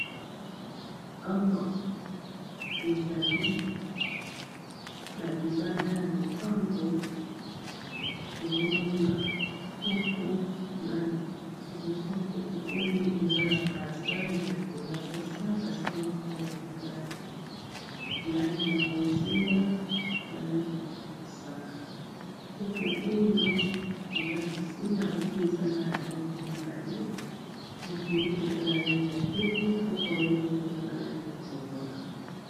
Awa ezali na libanda ya lopango, nazomona kopo, na liboso ya kopo oyo eza na basin ezali likolo ya mesa, basin eza na langi mibale, langi ya bonzinga na langi ya mosaka, kopo oyo eza na se yango mpeza na langi mibale mofiniko eza na langi ya pembe, kopo oyo moko eza na langi ya chokola.